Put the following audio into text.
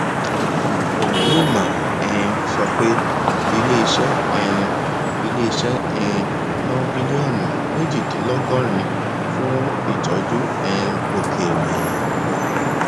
onyema um sọ pé ilé iṣẹ um ilé iṣẹ um ná bílíọnù méjìdínlọgọrin fún ìtọjú um òkèèrè